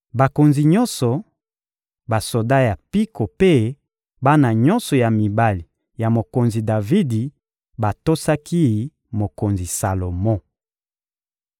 Bakonzi nyonso, basoda ya mpiko mpe bana nyonso ya mibali ya mokonzi Davidi batosaki mokonzi Salomo.